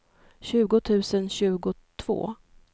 tjugo tusen tjugotvå